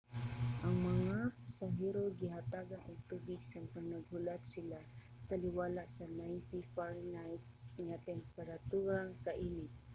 ang mga pasahero gihatagan og tubig samtang naghulat sila taliwala sa 90 fahrenheit nga temperatura kainit